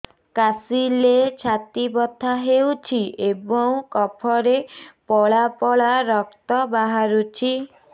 କାଶିଲେ ଛାତି ବଥା ହେଉଛି ଏବଂ କଫରେ ପଳା ପଳା ରକ୍ତ ବାହାରୁଚି